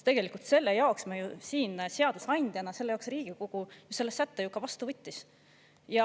Tegelikult selle jaoks me ju siin seadusandjana, Riigikogu selle sätte vastu võttis.